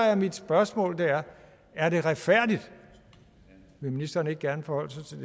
er mit spørgsmål er er det retfærdigt vil ministeren ikke gerne forholde sig